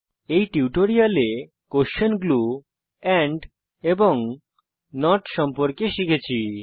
এই টিউটোরিয়ালে আমরা কোস্বেন গ্লু এন্ড নট সম্পর্কে শিখেছি